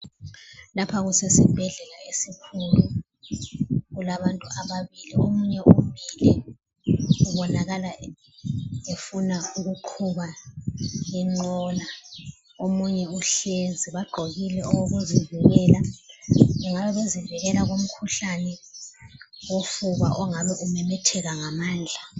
Lapha kusesibhedlela esikhulu. Kulabantu ababili, omunye umile ubonakala efuna ukuqhuba inqola. Omunye uhlezi. Bagqokile okokuzivikela. Bengabe bezivikela kumkhuhlane wofuba ongani umemetheka ngamandla.